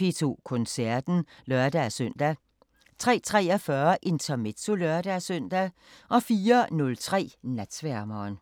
P2 Koncerten (lør-søn) 03:43: Intermezzo (lør-søn) 04:03: Natsværmeren